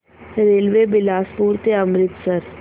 railway Bilaspur ते अमृतसर